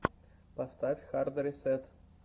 поставь хард ресэт